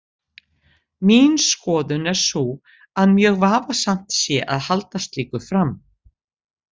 Mín skoðun er sú að mjög vafasamt sé að halda slíku fram.